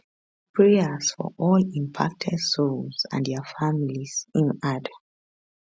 prayers for all impacted souls and dia families im add